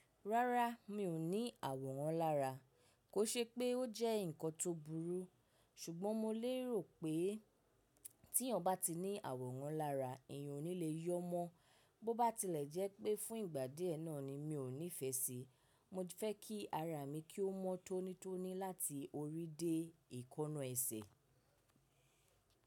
Rárá, mi ò ní àwòrán lára. Kò ṣe pé ó jẹ́ nǹkan tó burú, ṣùgbọ́n mo lérò pé tí èèyàn bá ti ní àwòrán lára, èèyàn ò ní le yọ́ mọ́. Bó bá tilẹ̀ jẹ́ pé fún ìgbà díẹ̀ náà ni mi ò nífẹ̀ẹ́ síi. Mo fẹ́ kí ara mi kí ó mọ́ tónítóní láti orí dé èékánná ẹsẹ̀.